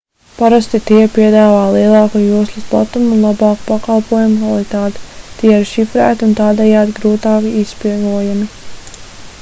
parasti tie piedāvā lielāku joslas platumu un labāku pakalpojumu kvalitāti tie ir šifrēti un tādējādi grūtāk izspiegojami